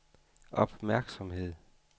opmærksomhed